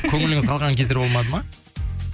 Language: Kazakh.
көңіліңіз қалған кездер болмады ма